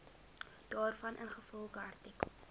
daarvan ingevolge artikel